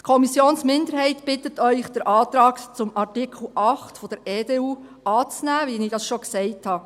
Die Kommissionsminderheit bittet Sie, den Antrag zu Artikel 8 der EDU anzunehmen, wie ich es schon gesagt habe.